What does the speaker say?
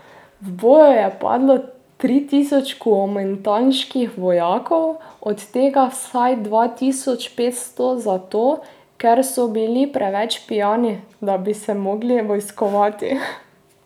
V boju je padlo tri tisoč kuomintanških vojakov, od tega vsaj dva tisoč petsto zato, ker so bili preveč pijani, da bi se mogli vojskovati.